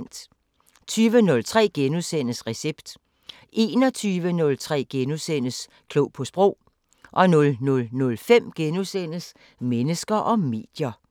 20:03: Recept * 21:03: Klog på sprog * 00:05: Mennesker og medier *